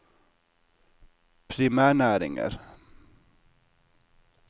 primærnæringer